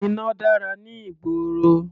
Iná dára ní ìgboro.